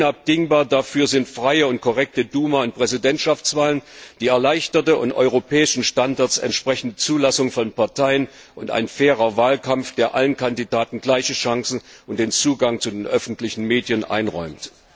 Unabdingbar dafür sind freie und korrekte Duma und Präsidentschaftswahlen, die erleichterte und europäischen Standards entsprechende Zulassung von Parteien und ein fairer Wahlkampf, der allen Kandidaten gleiche Chancen und den Zugang zu den öffentlichen Medien einräumt.